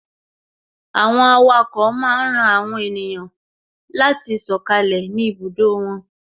Àwọn awako máa ń ran àwọn ènìyàn láti sọkalẹ ni ibùdó wọn